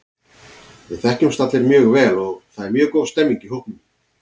Við þekkjumst allir mjög vel og það er mjög góð stemning í hópnum.